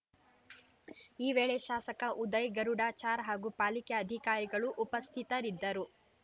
ಈ ವೇಳೆ ಶಾಸಕ ಉದಯ್‌ ಗರುಡಾಚಾರ್‌ ಹಾಗೂ ಪಾಲಿಕೆ ಅಧಿಕಾರಿಗಳು ಉಪಸ್ಥಿತರಿದ್ದರು